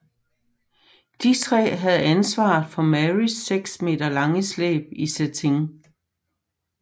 De tre havde ansvaret for Marys seks meter lange slæb i satin